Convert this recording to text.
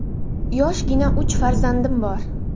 Yoshgina uch farzandim bor.